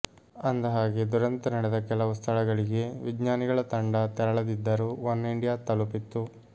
ಅಂದಹಾಗೆ ದುರಂತ ನಡೆದ ಕೆಲವು ಸ್ಥಳಗಳಿಗೆ ವಿಜ್ಞಾನಿಗಳ ತಂಡ ತೆರಳದಿದ್ದರೂ ಒನ್ ಇಂಡಿಯಾ ತಲುಪಿತ್ತು